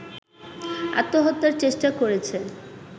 আত্মহত্যার চেষ্টা করেছে